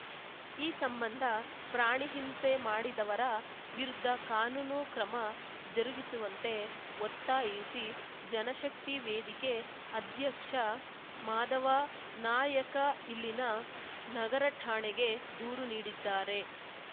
ಈ ಸಂಬಂಧ ಪ್ರಾಣಿ ಹಿಂಸೆ ಮಾಡಿದವರ ವಿರುದ್ಧ ಕಾನೂನು ಕ್ರಮ ಜರುಗಿಸುವಂತೆ ಒತ್ತಾಯಿಸಿ ಜನಶಕ್ತಿ ವೇದಿಕೆ ಅಧ್ಯಕ್ಷ ಮಾಧವ ನಾಯಕ ಇಲ್ಲಿನ ನಗರ ಠಾಣೆಗೆ ದೂರು ನೀಡಿದ್ದಾರೆ